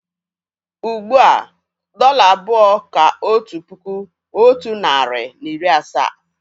Ugbu a, dọ́là abụọ kà otu puku, otu narị na iri asaa